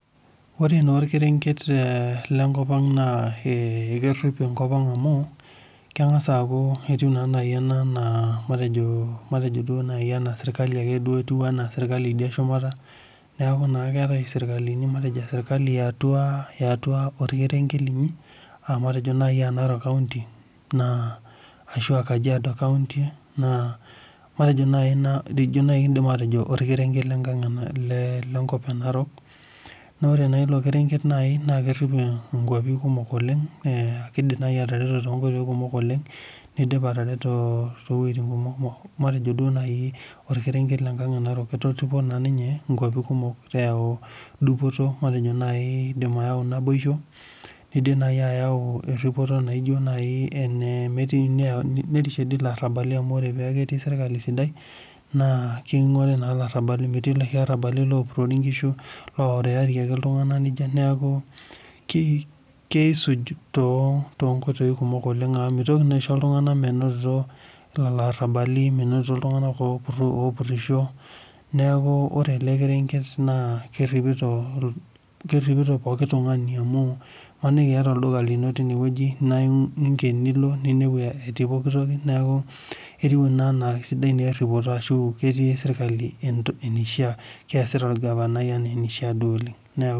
Oore naa orkerenget lenkop ang naa kerip enkop ang amuu, keng; as aaku etiu naa naaji eena serkali ake duo idia e shumata niaku naa keetae serkali matejo serkali iatua orkerenget linyi, aah matejo naaji Narok county, arashu aa Kajiado County ninye naaji kiidim atejo orkerenget lenkop e Narok, naa oore naaji iilo kerenget naa kerip inkwapi kumok oleng, Keidim naaji atoripo tonkoitoi kumok oleng eidim ayau naboisho neshuki ilarabali amuu meitoki naa aisho iltung'ana metupurisho amuu keidim niata olduka lino niingen nilo amuu iata naa serkali.